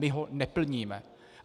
My ho neplníme.